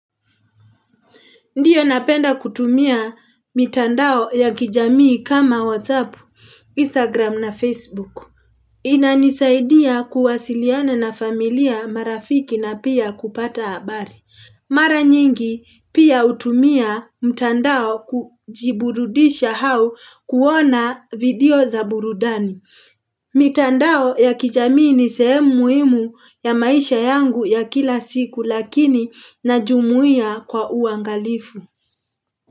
Ndio napenda kutumia mitandao ya kijamii kama WhatsApp, Instagram na Facebook. Inanisaidia kuwasiliana na familia marafiki na pia kupata habari. Mara nyingi pia hutumia mitandao kujiburudisha au kuona video za burudani. Mitandao ya kijamii ni sehemu muhimu ya maisha yangu ya kila siku lakini najumuhia kwa uangalifu.